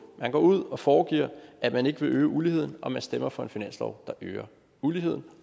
man går ud og foregiver at man ikke vil øge uligheden og man stemmer for en finanslov der øger uligheden